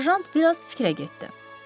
Serjant biraz fikrə getdi.